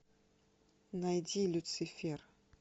найди люцифер